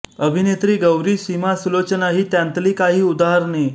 अभिनेत्री गौरी सीमा सुलोचना ही त्यांतली काही उदाहरणे